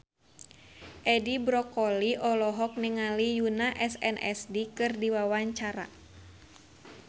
Edi Brokoli olohok ningali Yoona SNSD keur diwawancara